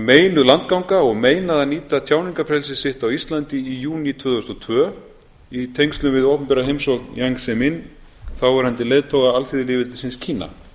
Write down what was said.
meinuð landganga og meinað að nýta tjáningarfrelsi sitt á íslandi í júní tvö þúsund og tvö í tengslum við opinbera heimsókn jiang zemin þáverandi leiðtoga alþýðulýðveldisins kína